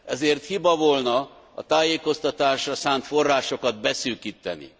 Ezért hiba volna a tájékoztatásra szánt forrásokat beszűkíteni.